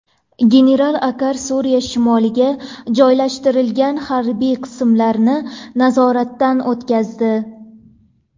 General Akar Suriya shimoliga joylashtirilgan harbiy qismlarni nazoratdan o‘tkazdi.